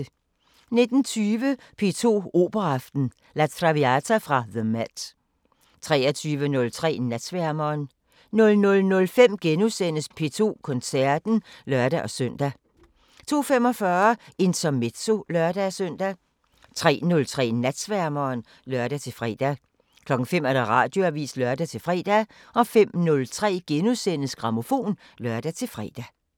19:20: P2 Operaaften: La Traviata fra the MET 23:03: Natsværmeren 00:05: P2 Koncerten *(lør-søn) 02:45: Intermezzo (lør-søn) 03:03: Natsværmeren (lør-fre) 05:00: Radioavisen (lør-fre) 05:03: Grammofon *(lør-fre)